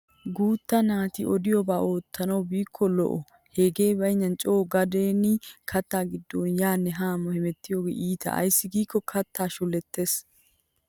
Guutta naati odidobaa oottana biiko lo'o hegee baynnan coo gadden katta giddon yaanne haa hemettiyoogee iita ayssi giikko kattaa shulettees.